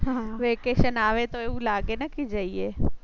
હમ vacation આવે તો એવું લાગે ને કે જઈએ.